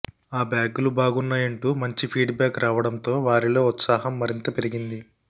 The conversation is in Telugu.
ఆ బ్యాగులు బాగున్నాయంటూ మంచి ఫీడ్ బ్యాక్ రావడంతో వారిలో ఉత్సాహం మరింత పెరిగింది